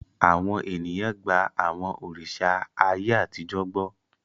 Àwọn ènìyàn gba àwọn òrìṣà ayé àtijọ́ gbọ́.